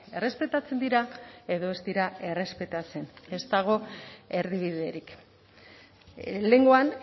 errespetatzen dira edo ez dira errespetatzen ez dago erdibiderik lehengoan